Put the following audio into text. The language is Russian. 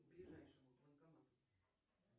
к ближайшему банкомату